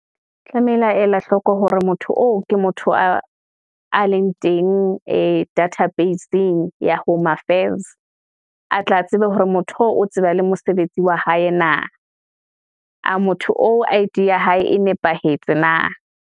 Tlamehile a ela hloko hore motho oo, ke motho a leng teng ee data base-eng ya Home Affairs. A tla tsebe hore motho oo, o tseba le mosebetsi wa hae na, a motho o I_D ya hae e nepahetse na.